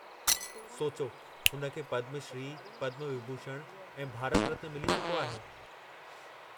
सोचो, हुन खे पद्मश्री, पद्मविभूषण ऐं भारत रत्न मिली चुको आहे।